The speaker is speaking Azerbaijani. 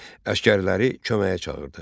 Əsgərləri köməyə çağırdı.